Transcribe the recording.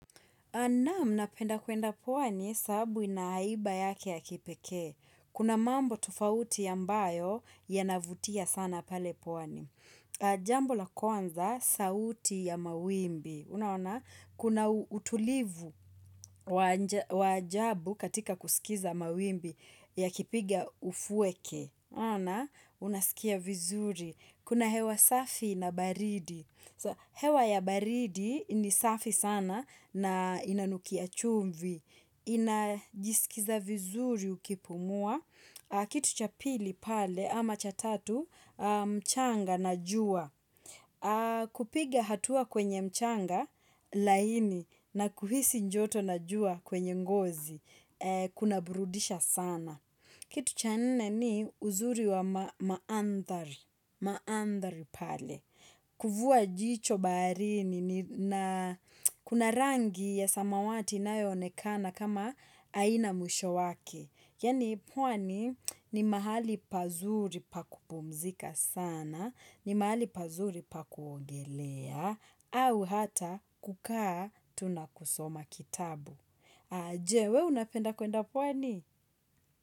Naam, napenda kuenda pwani sababu ina haiba yake ya kipeke. Kuna mambo tofauti ambayo yanavutia sana pale pwani. Jambo la kwanza, sauti ya mawimbi, unaona, kuna utulivu waa ajabu katika kusikiza mawimbi yakipiga ufueke. Onaona, unasikia vizuri. Kuna hewa safi na baridi. Hewa ya baridi ni safi sana na inanukia chumvi, inajisikiza vizuri ukipumua, kitu cha pili pale ama cha tatu mchanga na jua, kupiga hatua kwenye mchanga laini na kuhisi joto na jua kwenye ngozi, kuna burudisha sana. Kitu cha nne ni uzuri wa maandari, maandari pale. Kuvua jicho baharini na kuna rangi ya samawati inayoonekana kama haina mwisho wake. Yaani pwani ni mahali pazuri pa kupumzika sana, ni mahali pazuri pa kuogelea, au hata kukaa tu na kusoma kitabu. Aje, wee unapenda kwenda pwani?